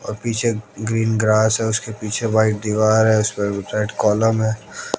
और पीछे green grass है उसके पीछे व्हाइट दीवार है उसपे रेड कॉलम है।